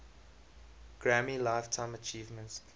grammy lifetime achievement